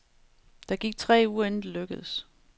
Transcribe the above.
Der gik tre uger, inden det lykkedes.